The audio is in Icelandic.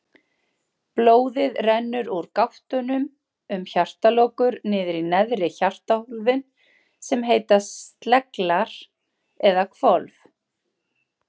Blóðið rennur úr gáttunum um hjartalokur niður í neðri hjartahólfin sem heita sleglar eða hvolf.